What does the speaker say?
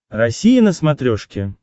россия на смотрешке